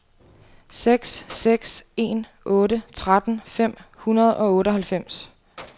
seks seks en otte tretten fem hundrede og otteoghalvfems